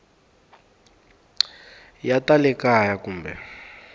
ya ta le kaya kumbe